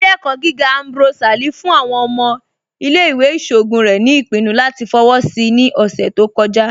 Ìlẹ̀-ẹ̀kọ gígà Ambrose Ali fún àwọn ọmọ ìlẹ̀-ìwé ìṣọogun rẹ̀ ni ipinnú latí fọwọ́ sí ní ọṣẹ̀ tó kọ̀jà.